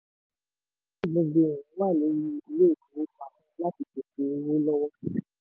um ojú gbogbo èèyàn wà lórí ilé-ìfowópamọ́ láti pèsè owó lọ́wọ́.